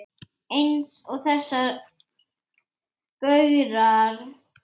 Eins og þessir gaurar!